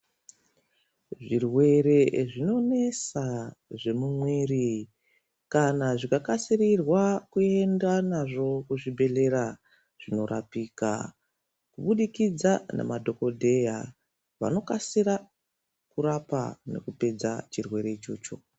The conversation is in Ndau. Zvirwere zvinonesa zvemumwiri kana zvikakasirirwa kuenda nazvo kuzvibhedhlera zvinorapika kubudikidza nemadhogodheya. Vanokasira kurapa nekupedza chirwere ichocho.